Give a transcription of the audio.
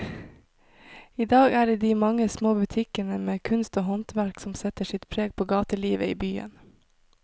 I dag er det de mange små butikkene med kunst og håndverk som setter sitt preg på gatelivet i byen.